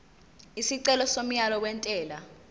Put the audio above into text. isicelo somyalo wentela